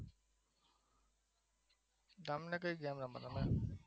તમે game રમવી ગમે